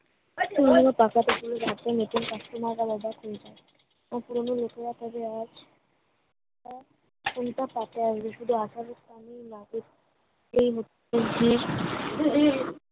শুধুমুধু পাকা পেঁপে গুলো গাছের নিচ্ছে পাকছে না আলাদা কুল পায়ে ওগুলো কাজে আজ কোনটা পাতে আসবে শুধু আঠেরোর টানে